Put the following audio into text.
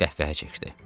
Sonra qəhqəhə çəkdi.